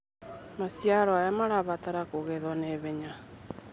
Maciaoro maya marabatara kũgetwo ihenya.